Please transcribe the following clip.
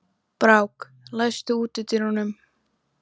Brák, læstu útidyrunum.